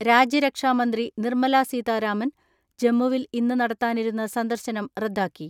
രാജ്യരക്ഷാമന്ത്രി നിർമ്മലാ സീതാരാമൻ ജമ്മുവിൽ ഇന്ന് നടത്താനിരുന്ന സന്ദർശനം റദ്ദാക്കി.